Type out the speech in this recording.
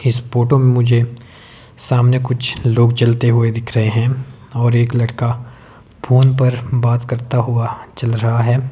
इस फोटो में मुझे सामने कुछ लोग चलते हुए दिख रहे हैं और एक लड़का फोन पर बात करता हुआ चल रहा है।